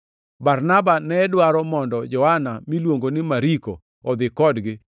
Barnaba ne dwaro mondo Johana miluongo ni Mariko odhi kodgi,